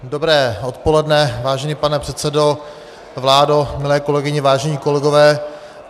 Dobré odpoledne, vážený pane předsedo, vládo, milé kolegyně, vážení kolegové.